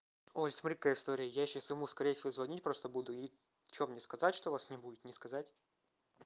ой смотри какая история я сейчас ему скорее всего звонить просто буду и что мне сказать что вас не будет не сказать